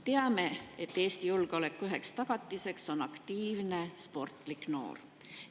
Teame, et Eesti julgeoleku üheks tagatiseks on aktiivne sportlik noor.